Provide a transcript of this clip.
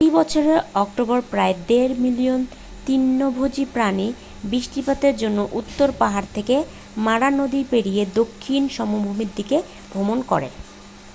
প্রতি বছর অক্টোবরে প্রায় দেড় মিলিয়ন তৃণভোজী প্রাণী বৃষ্টিপাতের জন্য উত্তর পাহাড় থেকে মারা নদী পেরিয়ে দক্ষিণ সমভূমির দিকে ভ্রমণ করে